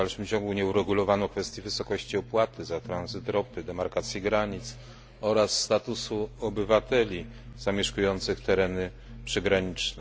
W dalszym ciągu nie uregulowano kwestii wysokości opłaty za tranzyt ropy, demarkacji granic oraz statusu obywateli zamieszkujących tereny przygraniczne.